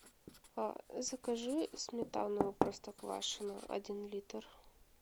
закажи сметану простоквашино один литр